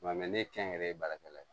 Nka ne kɛn yɛrɛ ye baarakɛla ye